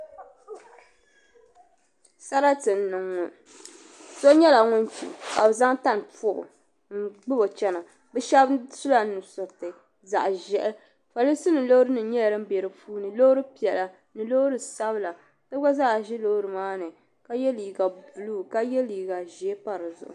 sarati n niŋ ŋɔ so nyɛla ŋun kpi ka bi zaŋ tani pobo n gbubo chɛna bi shab sula nusuriti zaɣ ʒiɛhi polinsi nim loori nyɛla din bɛ di puuni loori piɛla ni loori sabila so gba zaa ʒi loori maa ni ka yɛ liiga buluu ka yɛ liiga ʒiɛ pa dizuɣu